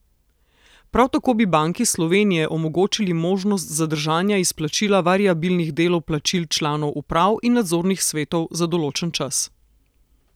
Prav tako bi Banki Slovenije omogočili možnost zadržanja izplačila variabilnih delov plačil članov uprav in nadzornih svetov za določen čas.